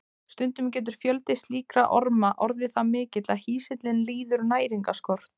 Stundum getur fjöldi slíkra orma orðið það mikill að hýsillinn líður næringarskort.